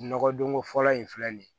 Nɔgɔdonko fɔlɔ in filɛ nin ye